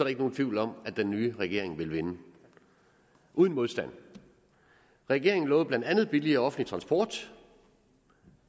ikke nogen tvivl om at den nye regering ville vinde uden modstand regeringen lovede blandt andet billigere offentlig transport